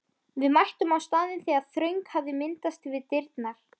Við mættum á staðinn þegar þröng hafði myndast við dyrnar.